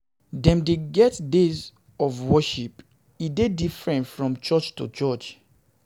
Dem de get days of worship e de diferent from church to church